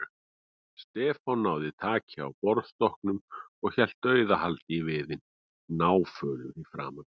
Stefán náði taki á borðstokknum og hélt dauðahaldi í viðinn, náfölur í framan.